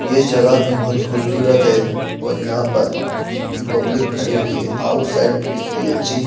ये जगह भी बहोत खूबसूरत है और यहां पर कित्ती पब्लिक खड़ी हुई है आउटसाइड कित्ती अच्छी--